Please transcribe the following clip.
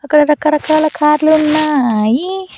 అక్కడ రకరకాల కార్ లు ఉన్నాయి.